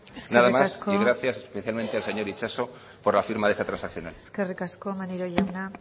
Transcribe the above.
nada más y gracias especialmente al señor itxaso por la firma de esta transaccional eskerrik asko maneiro jauna